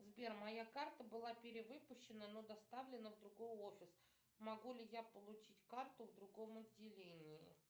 сбер моя карта была перевыпущена но доставлена в другой офис могу ли я получить карту в другом отделении